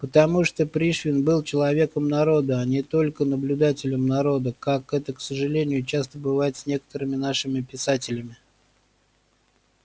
потому что пришвин был человеком народа а не только наблюдателем народа как это к сожалению часто бывает с некоторыми нашими писателями